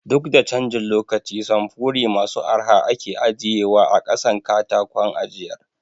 Duk da canjin lokaci samfuri masu arha ake ajiye wa a ƙasan katakon ajiyar